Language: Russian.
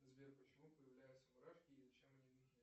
сбер почему появляются мурашки и зачем они нужны